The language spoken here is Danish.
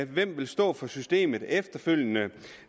vil stå for systemet efterfølgende